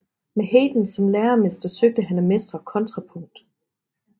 Med Haydn som læremester søgte han at mestre kontrapunkt